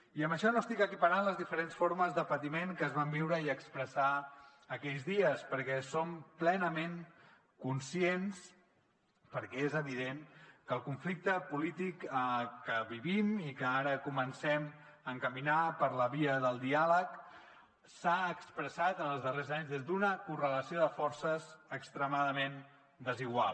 i amb això no estic equiparant les diferents formes de patiment que es van viure i expressar aquells dies perquè som plenament conscients perquè és evident que el conflicte polític que vivim i que ara comencem a encaminar per la via del diàleg s’ha expressat en els darrers anys des d’una correlació de forces extremadament desigual